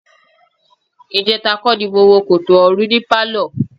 Ìjẹta kọ́ ni mo wo Kòtò Ọ̀run ní pálọ̀.